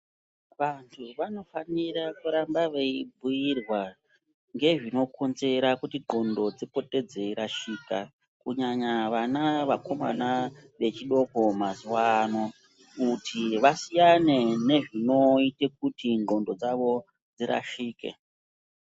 Vantu vanofanira kuramba veibhuyirwa ngezvinokonzera kuti ndxondo dzipote dzeirashika kunyanya vana vakomana vechidoko mazuvano, kuti vasiyane nezvinoite kuti ndxondo dzavo dzirashike.